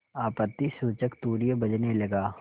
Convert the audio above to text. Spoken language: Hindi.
आपत्तिसूचक तूर्य बजने लगा